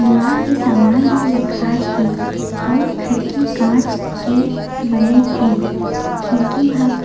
लोहा के सामान भी रखाए हे अउ खिड़की कांच के बने हे खिड़की ह कां --